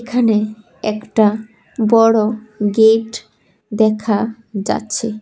এখানে একটা বড় গেট দেখা যাচ্ছে।